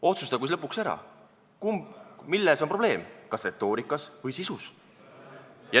Otsustagu siis lõpuks ära, milles on probleem, kas retoorikas või sisus.